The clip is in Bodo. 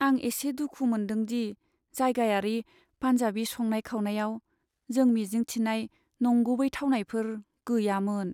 आं एसे दुखु मोनदों दि जायगायारि पान्जाबि संनाय खावनायाव जों मिजिं थिनाय नंगुबै थावनायफोर गैयामोन।